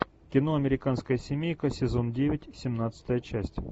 кино американская семейка сезон девять семнадцатая часть